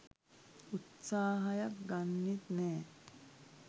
උත්සාහයක් ගන්නෙත් නෑ.